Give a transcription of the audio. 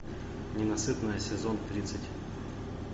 ненасытная сезон тридцать